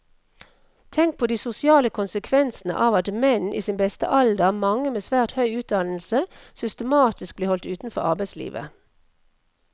Tenk på de sosiale konsekvensene av at menn i sin beste alder, mange med svært høy utdannelse, systematisk blir holdt utenfor arbeidslivet.